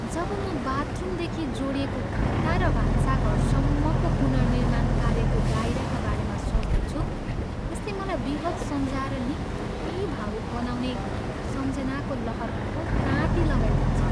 जब म बाथरुमदेखि जोडिएको भित्ता र भान्साघरसम्मको पुनर्निर्माण कार्यको दायराका बारेमा सोच्दछु, यसले मलाई विगत सम्झाएर निकै भावुक बनाउने सम्झनाका लहरहरूको ताँती लगाइदिन्छ।